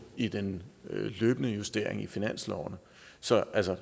i den løbende justering i finansloven så altså